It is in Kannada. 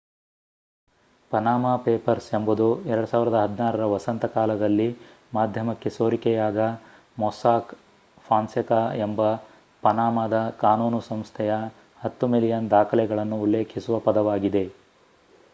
ಪನಾಮಾ ಪೇಪರ್ಸ್ ಎಂಬುದು 2016ರ ವಸಂತ ಕಾಲದಲ್ಲಿ ಮಾಧ್ಯಮಕ್ಕೆ ಸೋರಿಕೆಯಾದ ಮೊಸ್ಸಾಕ್ ಫಾನ್ಸೆಕಾ ಎಂಬ ಪನಾಮಾದ ಕಾನೂನು ಸಂಸ್ಥೆಯ 10 ಮಿಲಿಯನ್ ದಾಖಲೆಗಳನ್ನು ಉಲ್ಲೇಖಿಸುವ ಪದವಾಗಿದೆ